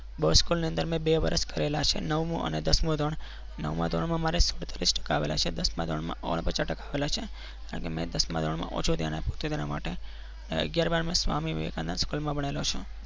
Boys સ્કૂલની અંદર અમે બે વર્ષ કરેલા છે નવમું અને દસમું ધોરણ નવમા ધોરણમાં મારે સાડત્રીસ ટકા આવેલા છે દસમા ધોરણમાં ઓગણપચાસ ટકા આવેલા છે અને મેં દસમા ધોરણમાં ઓછું ધ્યાન આપ્યું તે માટે અગિયાર બાર માં સ્વામી વિવેકાનંદ school માં ભણેલો છું.